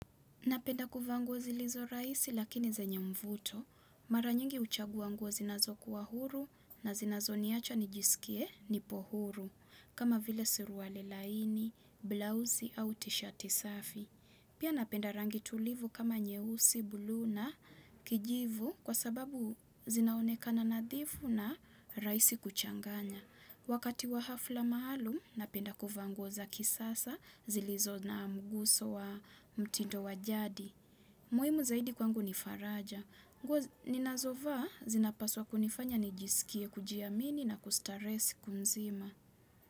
Napenda kuvaa nguo zilizo raisi lakini zenye mvuto. Mara nyingi huchagua nguo zinazokuwa huru na zinazoniacha nijisikie nipo huru. Kama vile suruali laini, blausi au tishati safi. Pia napenda rangi tulivu kama nyeusi, buluu na kijivu kwa sababu zinaonekana nadhifu na raisi kuchanganya. Wakati wa hafla maalum napenda kuvaa nguo za kisasa zilizo na mguso wa mtindo wa jadi. Muimu zaidi kwangu ni faraja. Nguo ninazovaa zinapaswa kunifanya nijisikie kujiamini na kustarehe siku mzima.